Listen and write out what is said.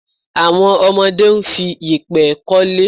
Àwọn ọmọdé ń fi yèpẹ̀ k'ọ́lé.